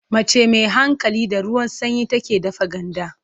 Mace mai hankali, da ruwan sanyi take dafa ganda.